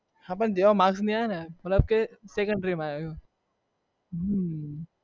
હા પણ જેવા માર્ક નહિ આવ્યા ને મતલબ કે second try માં આવ્યું હમ